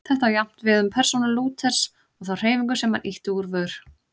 Þetta á jafnt við um persónu Lúthers og þá hreyfingu sem hann ýtti úr vör.